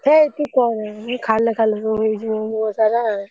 ହେଇ ତୁ କହନା, ଖାଲ, ଖାଲ ସବୁ ହେଇଛି, ମୋ ମୁହଁ ସାରା।